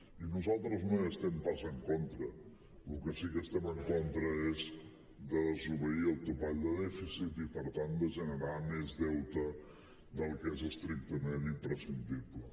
i nosaltres no hi estem pas en contra del que sí que estem en contra és de desobeir el topall de dèficit i per tant de generar més deute del que és estrictament imprescindible